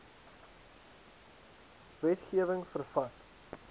wetge wing vervat